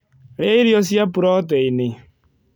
Rĩa irio cia proteĩnĩ